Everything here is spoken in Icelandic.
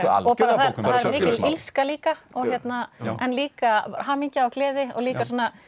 algjörlega það er mikil illska líka en líka hamingja og gleði og líka